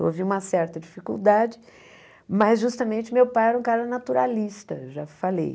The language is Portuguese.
Houve uma certa dificuldade, mas justamente meu pai era um cara naturalista, já falei.